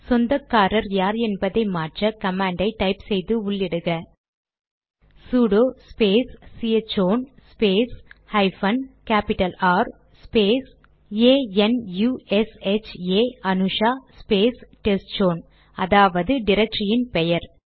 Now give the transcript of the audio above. சொந்தக்காரர் யார் என்பதை மாற்ற கமாண்டை டைப் செய்து உள்ளிடுக sudo space chown space hyphen capital R space A N U S H A Anusha space testzone அதாவது டிரக்டரியின் பெயர்